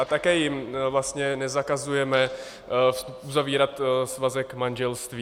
A také jim vlastně nezakazujeme uzavírat svazek manželství.